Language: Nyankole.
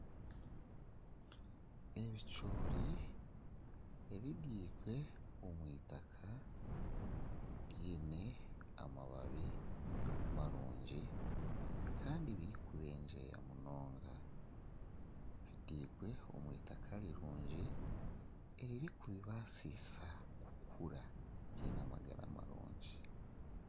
Ebicoori ebibirwe omwitaka byine amababi marungi kandi birikubengyeya munonga. Butirwe omwitaka rirungi eririkubibasisa kukura biine amagara marungi